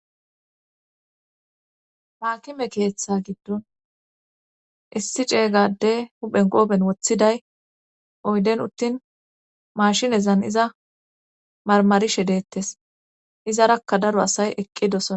Haakime keeththa giddon issi ceega adde huphen qooben woththiday oydden uuttin mashinezan iza marmarishe deettes izarakka daro asay eqqidosona